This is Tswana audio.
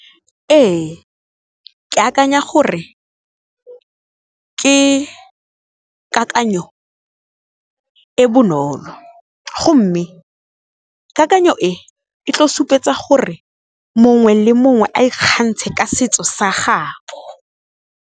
Ee ke akanya gore, ke kakanyo e bonolo go mme kakanyo e e tlo supetsa gore mongwe le mongwe a ikgantshe ka setso sa gabo.